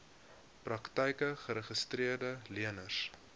praktyke geregistreede leners